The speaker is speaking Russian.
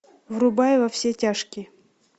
врубай во все тяжкие